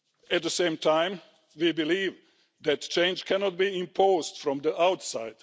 At the same time, we believe that change cannot be imposed from the outside.